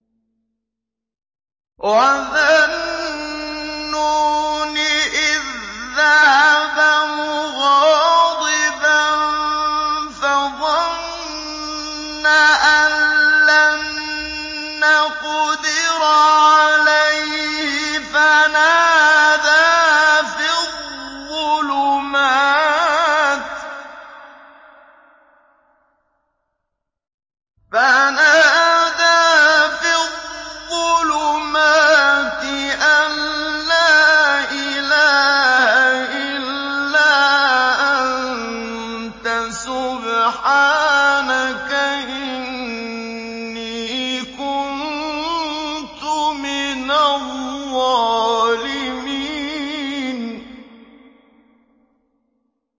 وَذَا النُّونِ إِذ ذَّهَبَ مُغَاضِبًا فَظَنَّ أَن لَّن نَّقْدِرَ عَلَيْهِ فَنَادَىٰ فِي الظُّلُمَاتِ أَن لَّا إِلَٰهَ إِلَّا أَنتَ سُبْحَانَكَ إِنِّي كُنتُ مِنَ الظَّالِمِينَ